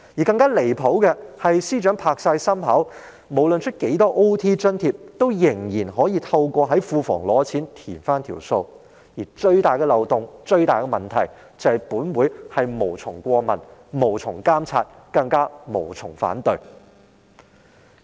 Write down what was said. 更加離譜的是，司長保證無論批出多少加班津貼，仍可透過向庫房提出撥款申請來抵銷有關開支，而最大的漏洞和問題是，本會是無從過問、無從監察，更加無從反對。